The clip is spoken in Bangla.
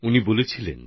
তিনি বলেছিলেন